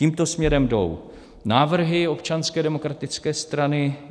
Tímto směrem jdou návrhy Občanské demokratické strany.